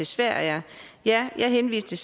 sverige ja jeg henviste